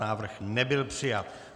Návrh nebyl přijat.